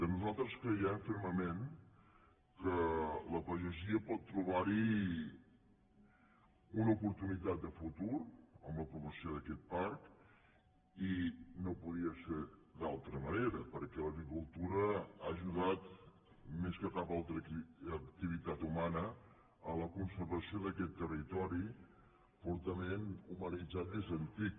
nosaltres creiem fermament que la pa·gesia pot trobar·hi una oportunitat de futur en l’apro·vació d’aquest parc i no podia ser d’altra manera per·què l’agricultura ha ajudat més que cap altra activitat humana a la conservació d’aquest territori fortament humanitzat des d’antic